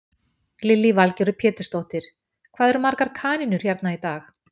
Lillý Valgerður Pétursdóttir: Hvað eru margar kanínur hérna í dag?